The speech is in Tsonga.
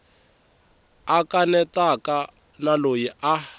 a kanetaka na loyi a